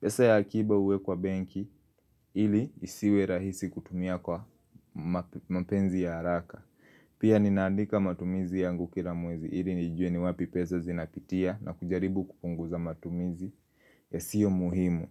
Pesa ya akiba huwekwa benki ili isiwe rahisi kutumia kwa mapenzi ya haraka. Pia ninaandika matumizi yangu kila mwezi ili nijue ni wapi pesa zinapitia na kujaribu kupunguza matumizi yasio muhimu.